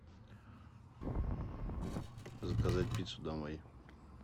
заказать пиццу домой